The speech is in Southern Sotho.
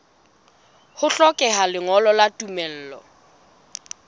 ho hlokeha lengolo la tumello